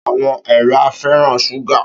Áwòn èèrà fèrán ṣúgá